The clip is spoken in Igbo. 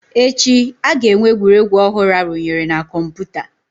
Echi, a ga-enwe egwuregwu ọhụrụ arụnyere na kọmpụta